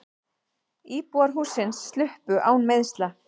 Íbúar hússins sluppu án meiðsla.